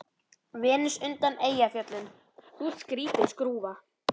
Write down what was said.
Venus undan Eyjafjöllum: Þú ert skrýtin skrúfa.